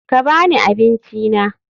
Ka ba ni abincina.